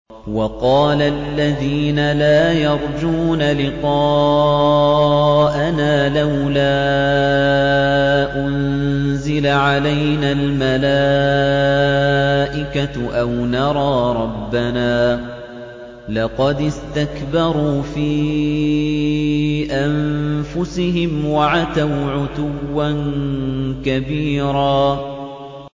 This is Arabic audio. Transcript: ۞ وَقَالَ الَّذِينَ لَا يَرْجُونَ لِقَاءَنَا لَوْلَا أُنزِلَ عَلَيْنَا الْمَلَائِكَةُ أَوْ نَرَىٰ رَبَّنَا ۗ لَقَدِ اسْتَكْبَرُوا فِي أَنفُسِهِمْ وَعَتَوْا عُتُوًّا كَبِيرًا